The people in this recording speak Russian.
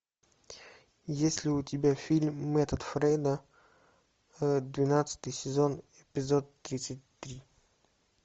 есть ли у тебя фильм метод фрейда двенадцатый сезон эпизод тридцать три